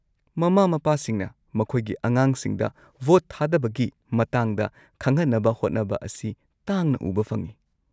-ꯃꯃꯥ-ꯃꯄꯥꯁꯤꯡꯅ ꯃꯈꯣꯏꯒꯤ ꯑꯉꯥꯡꯁꯤꯡꯗ ꯚꯣꯠ ꯊꯥꯗꯕꯒꯤ ꯃꯇꯥꯡꯗ ꯈꯪꯍꯟꯅꯕ ꯍꯣꯠꯅꯕ ꯑꯁꯤ ꯇꯥꯡꯅ ꯎꯕ ꯐꯪꯉꯤ꯫